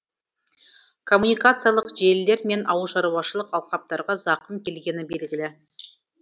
коммуникациялық желілер мен ауылшаруашылық алқаптарға зақым келгені белгілі